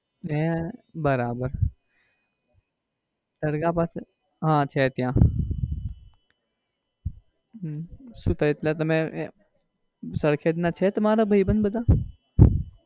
હૈ બરાબર દરગાહ પાસે હા છે ત્યાં હમ શું થયુંસરખેજ ના છે તમારા ભાઈબંધ બધા?